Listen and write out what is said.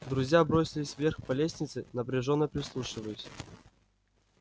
друзья бросились вверх по лестнице напряжённо прислушиваясь